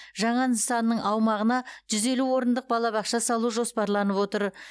жаңа нысанның аумағына жүз елу орындық балабақша салу жоспарланып отыр